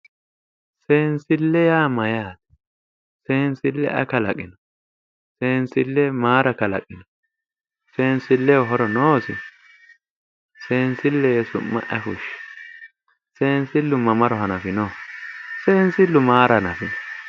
Seensille yaa mayyaate seensille ayi kalaqino seensille mayiira kalanqi seensilleho horo noosi seensille yee su'ma ayi fushshi seensillu mamaro hanafinoho seensillu maara hanafino